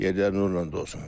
Yerləri nurla dolsun.